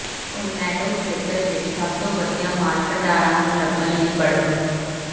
Orlando ਖੇਤਰ ਵਿੱਚ ਸਭ ਤੋਂ ਵਧੀਆ ਮਾਲ ਭੰਡਾਰਾਂ ਨੂੰ ਲੱਭਣ ਲਈ ਪੜ੍ਹੋ